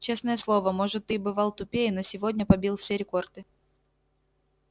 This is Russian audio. честное слово может ты и бывал тупее но сегодня побил все рекорды